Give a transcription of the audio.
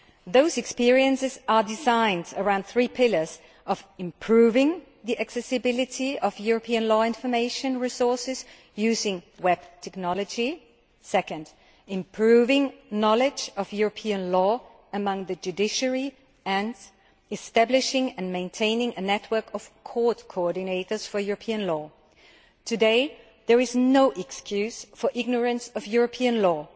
Those experiences are designed around three pillars improving the accessibility of European law information resources using web technology, improving knowledge of European law among the judiciary, and establishing and maintaining a network of court coordinators for European law. There is no excuse today for ignorance of European law.